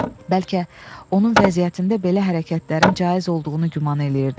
Bəlkə onun vəziyyətində belə hərəkətlərin caiz olduğunu güman eləyirdi.